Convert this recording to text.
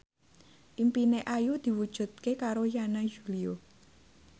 impine Ayu diwujudke karo Yana Julio